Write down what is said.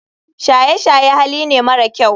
Shaye shaye Hali ne mara kyau.